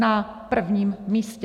Na prvním místě!